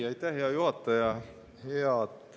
Aitäh, hea juhataja!